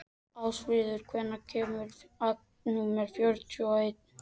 Ásfríður, hvenær kemur vagn númer fjörutíu og eitt?